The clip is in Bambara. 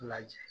Lajɛ